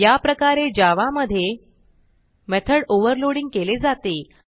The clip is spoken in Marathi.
याप्रकारे जावा मधे मेथॉड ओव्हरलोडिंग केले जाते